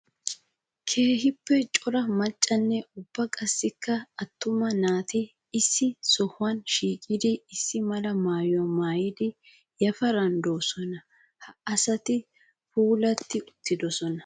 Keehippe cora maccanne ubba qassikka atumma naati issi sohuwa shiiqqliddi issi mala maayuwa maayiddi yafaran de'osona. Ha asatti puulatti uttidosona.